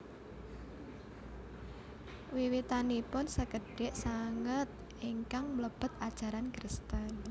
Wiwitanipun sekedhik sanget ingkang mlebet ajaran Kristen